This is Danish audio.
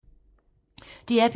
DR P3